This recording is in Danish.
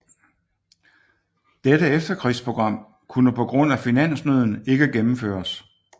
Dette efterkrigsprogram kunne på grund af finansnøden ikke gennemføres